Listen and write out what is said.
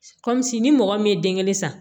Kɔmi sini ni mɔgɔ min ye den kelen san